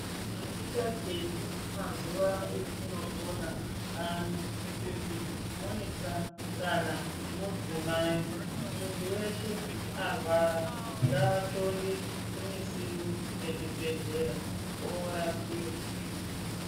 Azvichaketi mazuva atinopona anawa kuti muisa kana kuti mudzimai muntu weshe arwara nganxonde kumusiwo wezvibhedhlera orapiwa.